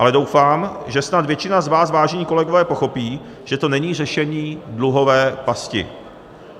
Ale doufám, že snad většina z vás, vážení kolegové, pochopí, že to není řešení dluhové pasti.